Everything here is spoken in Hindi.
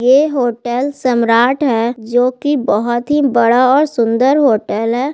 ये होटेल सम्राट है जो कि बहोत ही बड़ा और सुंदर होटेल है ।